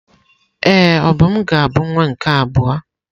Ee, Obum ga-abụ nwa nke abụọ.